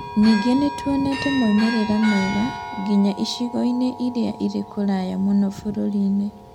Ningĩ nĩ tuonete moimĩrĩro mega nginya icigo-inĩ iria irĩ kũraya mũno bũrũri-inĩ.